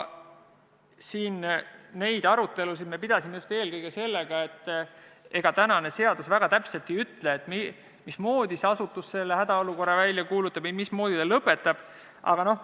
Neid arutelusid me pidasime just eelkõige selle tõttu, et seadus väga täpselt ei ütle, mismoodi see asutus hädaolukorra välja kuulutab ja mismoodi ta selle lõpetab.